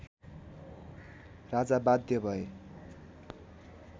राजा बाध्य भए